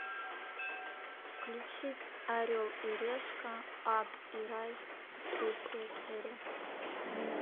включить орел и решка ад и рай третья серия